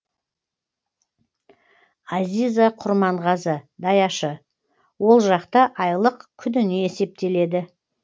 азиза құрманғазы даяшы ол жақта айлық күніне есептеледі